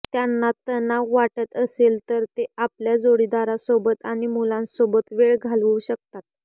त्यांना तणाव वाटत असेल तर ते आपल्या जोडीदारासोबत आणि मुलांसोबत वेळ घालवू शकतात